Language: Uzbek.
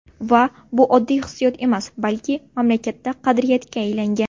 Va bu oddiy hissiyot emas, balki mamlakatda qadriyatga aylangan.